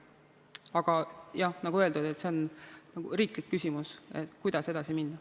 Aga jah, nagu öeldud, see on riiklik küsimus, kuidas edasi minna.